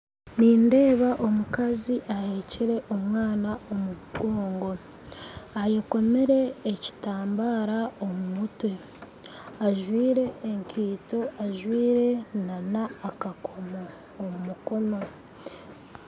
Nindeeba omukazi aheekire omwana aha mugongo ayekomere ekitambaara aha mutwe ajwaire enkaito ajwaire n'akakomo aha mukono